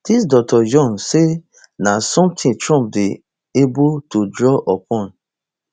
dis dr jones say na sometin trump dey able to draw upon